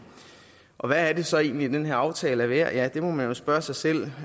og hvad er det så egentlig den her aftale er værd ja det må man jo spørge sig selv